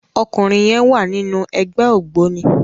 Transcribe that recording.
Òkúnrin yèn wá ninú ègbè ógbóni